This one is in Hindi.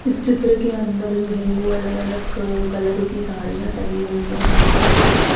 इस चित्र के अंदर जो है वो अलग-अलग कलर की साड़ियाँ टंगी हुई हैं हेंगर के ऊपर--